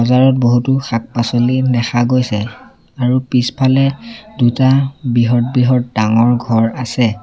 বজাৰত বহুতো শাক-পাচলি দেখা গৈছে আৰু পিছফালে দুটা বৃহৎ বৃহৎ ডাঙৰ ঘৰ আছে।